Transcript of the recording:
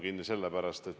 Aitäh!